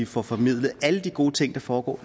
får formidlet alle de gode ting der foregår